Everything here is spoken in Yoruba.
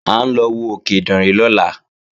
À ń lọ wo òkè Ìdànrè lọ́la